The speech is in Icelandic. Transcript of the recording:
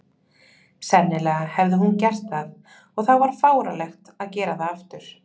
Sennilega hafði hún gert það, og þá var fáránlegt að gera það aftur.